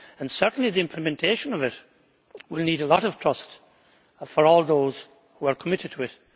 Certainly the implementation of it will need a lot of trust, for all those who are committed to it.